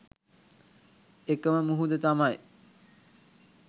එකම මුහුද තමයි